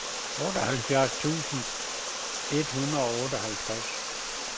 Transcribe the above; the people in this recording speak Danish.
otteoghalvfjerds tusind et hundrede og otteoghalvtreds